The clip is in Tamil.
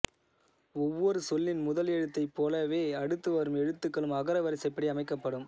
ஒவ்வொரு சொல்லின் முதல் எழுத்தைப்போலவே அடுத்து வரும் எழுத்துக்களும் அகர வரிசைப்படி அமைக்கப்படும்